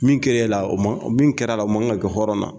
Min kɛre la o ma ,min kɛra la o man ka kɛ hɔrɔn na.